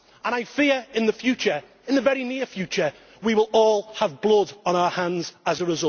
I fear that in the future, in the very near future, we will all have blood on our hands as